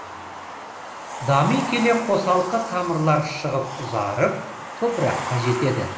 дами келе қосалқы тамырлар шығып ұзарып топыраққа жетеді